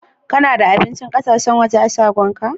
Kana da abincin ƙasashen waje a'shagon ka?